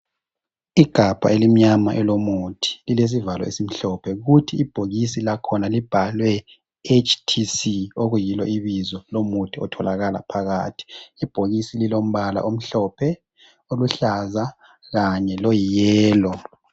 Igabha elimnyama elomuthi lilesivalo esimhlophe. Kuthi ibhokisi lakhona libhalwe HTC,okuyilo ibizo lomuthi otholakala phakathi. Ibhokisi lilombala omhlophe, oluhlaza kanye loyiyelo.